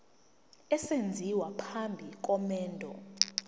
esenziwa phambi komendo